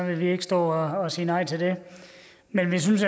vil vi ikke stå og sige nej til det men vi synes